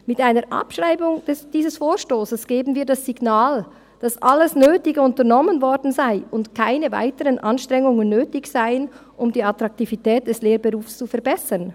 Mit einer Abschreibung dieses Vorstosses geben wir das Signal, dass alles Nötige unternommen worden sei und keine weiteren Anstrengungen nötig seien, um die Attraktivität des Lehrberufs zu verbessern.